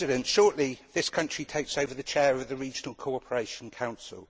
Shortly this country will take over the chair of the Regional Cooperation Council.